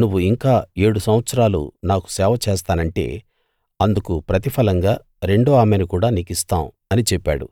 నువ్వు ఇంకా ఏడు సంవత్సరాలు నాకు సేవ చేస్తానంటే అందుకు ప్రతిఫలంగా రెండో ఆమెను కూడా నీకిస్తాం అని చెప్పాడు